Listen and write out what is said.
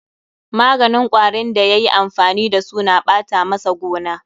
Maganin kwarin da ya yi amfani da su na ɓata masa gona.